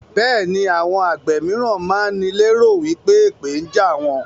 Bẹẹni àwọn àgbẹ̀ mìíràn máa ń ní lé ro wípé èpè ń jà àwọn.